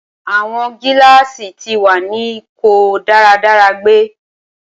Awọn gilaasi ti wa ni ko daradara gbe.